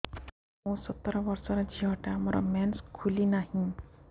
ମୁ ସତର ବର୍ଷର ଝିଅ ଟା ମୋର ମେନ୍ସେସ ଖୁଲି ନାହିଁ